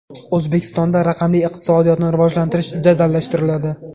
O‘zbekistonda raqamli iqtisodiyotni rivojlantirish jadallashtiriladi.